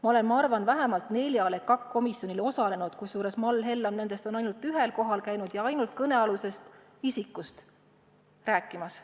Ma olen, ma arvan, vähemalt neljal EKAK-i komisjoni istungil osalenud, kusjuures Mall Hellam on nendest ainult ühel kohal käinud ja seal ainult kõnealusest isikust rääkinud.